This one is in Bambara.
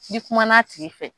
Ni kuma na a tigi fɛ.